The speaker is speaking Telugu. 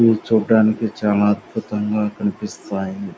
ఇది చూడటానికి చాల అద్భుతంగా కనిపిస్తాయి.